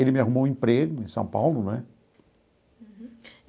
Ele me arrumou um emprego em São Paulo, né? Uhum.